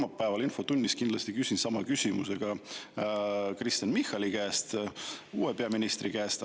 Ma kolmapäeval infotunnis kindlasti küsin sama küsimuse ka Kristen Michali käest, uue peaministri käest.